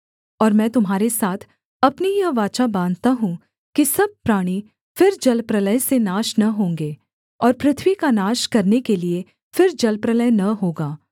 और मैं तुम्हारे साथ अपनी यह वाचा बाँधता हूँ कि सब प्राणी फिर जलप्रलय से नाश न होंगे और पृथ्वी का नाश करने के लिये फिर जलप्रलय न होगा